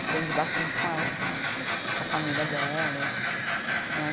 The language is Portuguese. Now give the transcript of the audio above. Aprendi bastante com elas também, com a família delas, né?